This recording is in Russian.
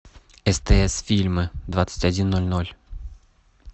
стс фильмы двадцать один ноль ноль